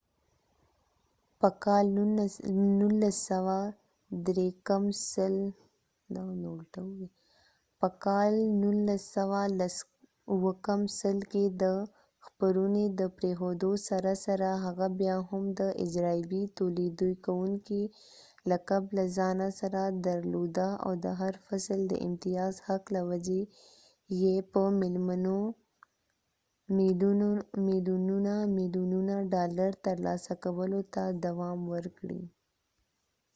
په کال 1993 کې د خپرونې د پریښودو سره سره هغه بیا هم د اجرائیوي تولیدکوونکي لقب له ځانه سره درلوده او د هر فصل د امتیاز حق له وجې یې په ملیونونه ملیونونه ډالر ترلاسه کولو ته دوام ورکړی